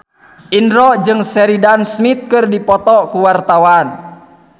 Indro jeung Sheridan Smith keur dipoto ku wartawan